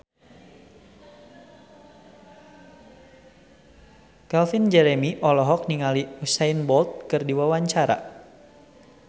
Calvin Jeremy olohok ningali Usain Bolt keur diwawancara